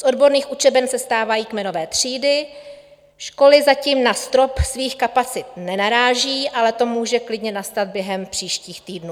Z odborných učeben se stávají kmenové třídy, školy zatím na strop svých kapacit nenarážejí, ale to může klidně nastat během příštích týdnů.